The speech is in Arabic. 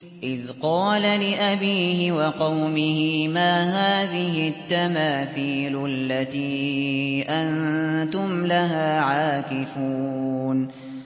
إِذْ قَالَ لِأَبِيهِ وَقَوْمِهِ مَا هَٰذِهِ التَّمَاثِيلُ الَّتِي أَنتُمْ لَهَا عَاكِفُونَ